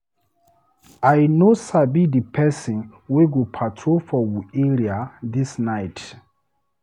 I no sabi di pesin wey go patrol for we area dis night.